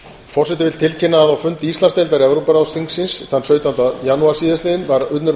forseti vill tilkynna að á fundi íslandsdeildar evrópuráðsþingsins þann sautjánda janúar síðastliðinn var unnur